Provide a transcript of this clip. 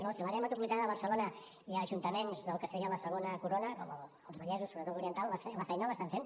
no si l’àrea metropolitana de barcelona i els ajuntaments del que seria la segona corona com els vallesos sobretot l’oriental la feina l’estan fent